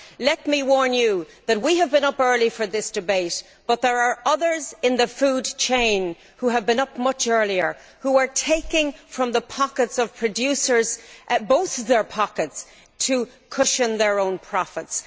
Let me warn you that, though we have been up early for this debate, there are others in the food chain who have been up much earlier and are taking from the pockets of producers, both their pockets, to cushion their own profits.